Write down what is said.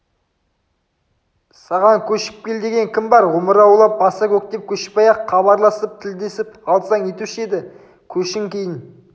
саған көшіп кел деген кім бар омыраулап баса-көктеп көшпей-ақ хабарласып тілдесіп алсаң нетуші еді көшің кейін